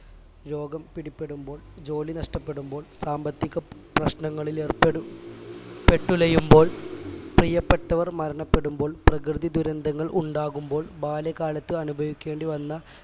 രോഗം പിടിപെടുമ്പോൾ ജോലി നഷ്ടപ്പെടുമ്പോൾ സാമ്പത്തിക പ്രശ്നങ്ങളിൽ ഏർപ്പെടു പെട്ടുലയുമ്പോൾ പ്രീയപ്പെട്ടവർ മരണപ്പെടുമ്പോൾ പ്രകൃതി ദുരന്തങ്ങൾ ഉണ്ടാകുമ്പോൾ ബാല്യകാലത്ത് അനുഭവിക്കേണ്ടിവന്ന